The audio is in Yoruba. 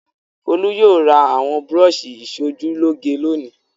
Folú yóò ra àwọn búrọ́ṣì ìṣojúlóge lónìí.